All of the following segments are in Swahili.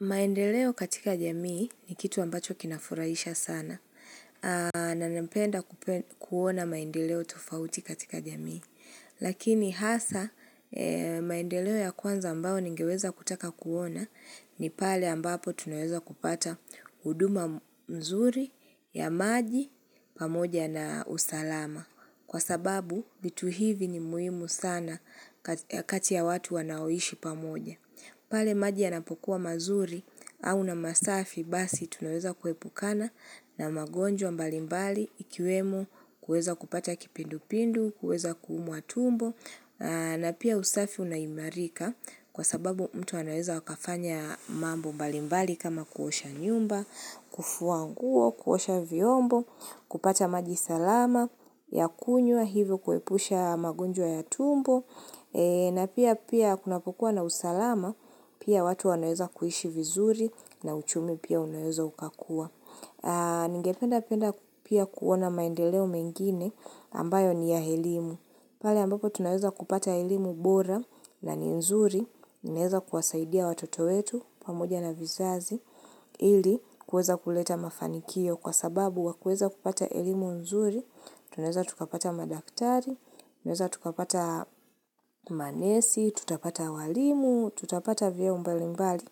Maendeleo katika jamii ni kitu ambacho kinafurahisha sana. Na napenda kuona maendeleo tufauti katika jamii. Lakini hasa maendeleo ya kwanza ambao ningeweza kutaka kuona ni pale ambapo tunaweza kupata huduma mzuri ya maji pamoja na usalama. Kwa sababu, vitu hivi ni muhimu sana ya kati ya watu wanaoishi pamoja. Pale maji ya napokuwa mazuri au na masafi basi tunaweza kuepukana na magonjwa mbalimbali ikiwemo kueza kupata kipindu pindu, kueza kuumwa tumbo na pia usafi unaimarika kwa sababu mtu anaweza akafanya mambo mbalimbali kama kuosha nyumba, kufuanguo, kuosha viombo, kupata maji salama ya kunywa hivyo kuepusha magonjwa ya tumbo na pia pia kuna kukua na usalama pia watu wanaeza kuhishi vizuri na uchumi pia unaweza ukakuwa. Ningependa penda pia kuona maendeleo mengine ambayo ni ya elimu. Pale ambapo tunaeza kupata elimu bora na ni nzuri. Naeza kuwasaidia watoto wetu pamoja na vizazi. Ili kueza kuleta mafanikio kwa sababu wakieza kupata elimu nzuri. Tuneza tukapata madaktari, tuneza tukapata manesi, tutapata walimu, tutapata vyeo mbalimbali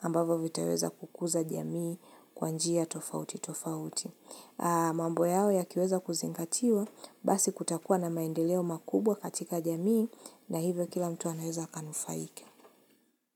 ambavyo vitaweza kukuza jamii kwanjia tofauti tofauti. Mambo yao yakiweza kuzingatiwa basi kutakuwa na maendeleo makubwa katika jamii na hivyo kila mtu anaeza akanufaike.